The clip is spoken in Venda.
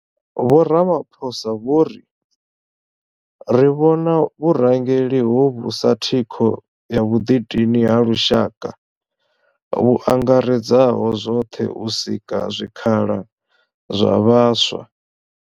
Vho Ramaphosa vho ri ri vhona vhurangeli hovhu sa thikho ya vhuḓidini ha lushaka vhu angaredzaho zwoṱhe u sika zwikhala zwa vhaswa.